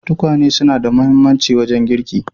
Tukwane suna da mahimmanci wajen girki.